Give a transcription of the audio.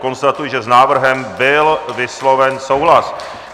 Konstatuji, že s návrhem byl vysloven souhlas.